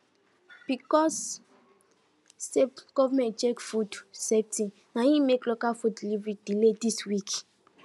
because say government check food safety na him make local food delivery delay this week